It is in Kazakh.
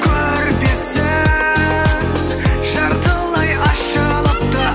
көрпесі жартылай ашылыпты